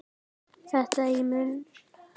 Þetta myndi ég muna!